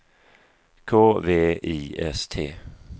K V I S T